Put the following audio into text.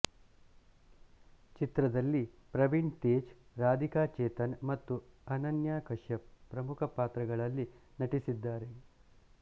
ಚಿತ್ರದಲ್ಲಿ ಪ್ರವೀಣ್ ತೇಜ್ ರಾಧಿಕಾ ಚೇತನ್ ಮತ್ತು ಅನನ್ಯಾ ಕಶ್ಯಪ್ ಪ್ರಮುಖ ಪಾತ್ರಗಳಲ್ಲಿ ನಟಿಸಿದ್ದಾರೆ